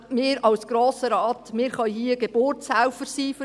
Wir als Grosser Rat können für dieses Projekt Geburtshelfer sein.